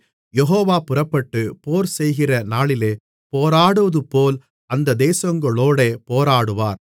யெகோவா புறப்பட்டு போர்செய்கிற நாளிலே போராடுவதுபோல் அந்த தேசங்களோடே போராடுவார்